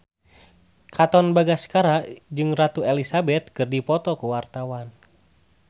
Katon Bagaskara jeung Ratu Elizabeth keur dipoto ku wartawan